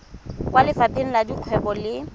kwa lefapheng la dikgwebo le